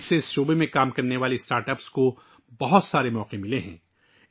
اس سے اس شعبے میں کام کرنے والے اسٹارٹ اپس کو بہت سارے مواقع ملے ہیں